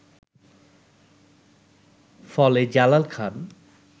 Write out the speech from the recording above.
ফলে জালাল খান